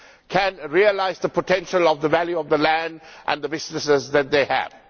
can realise the potential of the value of the land and the businesses that they have.